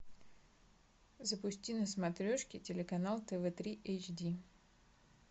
запусти на смотрешке телеканал тв три эйч ди